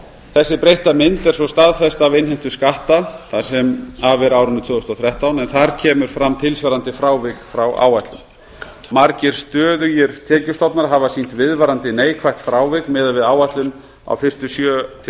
þessi breytta mynd er svo staðfest af innheimtu skatta það sem af er árinu tvö þúsund og þrettán en þar kemur fram tilsvarandi frávik frá áætlun margir stöðugir tekjustofnar hafa sýnt viðvarandi neikvætt frávik miðað við áætlun á fyrstu sjö til